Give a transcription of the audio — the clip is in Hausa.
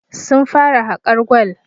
Sun fara hakar gwal